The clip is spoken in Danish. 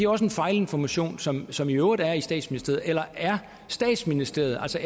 også fejlinformation som som i øvrigt er i statsministeriet eller er statsministeriet altså